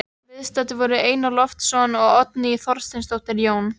Viðstaddir voru Einar Loftsson og Oddný Þorsteinsdóttir, Jón